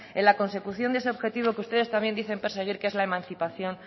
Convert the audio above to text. en la consecución de ese objetivo que ustedes también dicen perseguir que es la emancipación